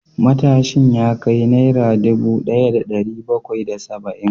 Matashin ya kai Naira dubu daya da dari bakwai da saba’in